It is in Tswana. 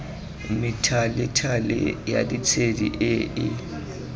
methalethale ya ditshedi e e